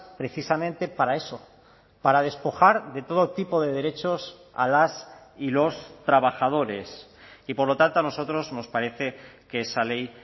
precisamente para eso para despojar de todo tipo de derechos a las y los trabajadores y por lo tanto a nosotros nos parece que esa ley